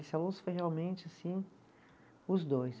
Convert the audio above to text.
foi realmente assim os dois.